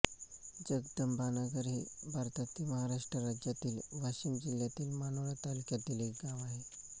जगदंबानगर हे भारतातील महाराष्ट्र राज्यातील वाशिम जिल्ह्यातील मानोरा तालुक्यातील एक गाव आहे